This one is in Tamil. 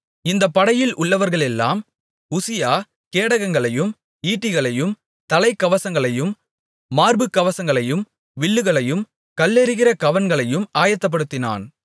இந்தப் படையில் உள்ளவர்களுக்கெல்லாம் உசியா கேடகங்களையும் ஈட்டிகளையும் தலைக்கவசங்களையும் மார்புக்கவசங்களையும் வில்லுகளையும் கல்லெறிகிற கவண்களையும் ஆயத்தப்படுத்தினான்